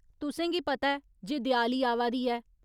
तुसेंगी पता ऐ जे देआली आवा दी ऐ !